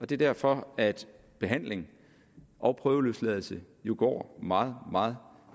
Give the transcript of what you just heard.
det er derfor at behandling og prøveløsladelse jo går meget meget